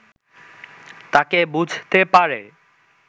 তাকে বুঝতে পারে